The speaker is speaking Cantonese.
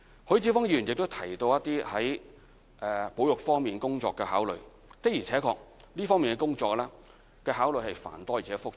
許智峯議員亦提到在保育方面工作的考慮，的而且確，這方面工作的考慮是繁多而且複雜的。